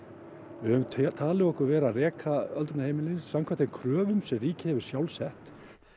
við höfum talið okkur vera að reka öldrunarheimili samkvæmt þeim kröfum sem ríkið hefur sjálft sett